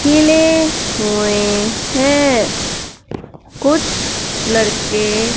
खिले हुए हैं कुछ लड़के--